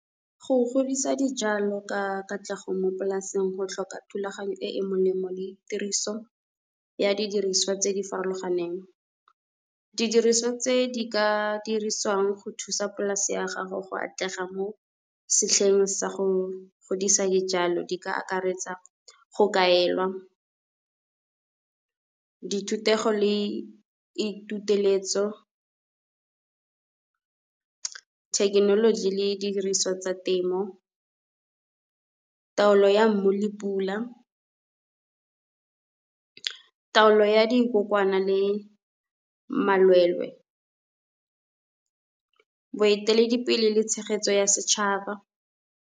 Go godisa dijalo ka katlego mo polaseng go tlhoka thulaganyo e e molemo le tiriso ya didiriswa tse di farologaneng. Didiriswa tse di ka dirisiwang go thusa polase ya gago go atlega mo setlheng sa go godisa dijalo, di ka akaretsa go kaelwa di thutego le ituteletso, thekenoloji le didiriswa tsa temo, taolo ya mmu le pula, taolo ya dikokwana le malwelwe, boeteledipele le tshegetso ya setšhaba.